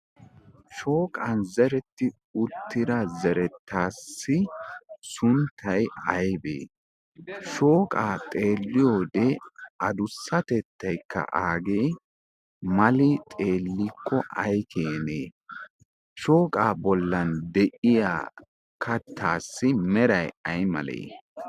shooqan zeretti uttira zerettaassi sunttay aybee shooqaa xeelliyoode adussatettaykka aagee mali xeellikko ay keenee shooqaa bollan de'iya kattaassi meray ay malee?